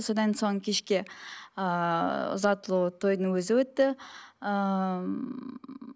содан соң кешке ыыы ұзатылу тойдың өзі өтті ммм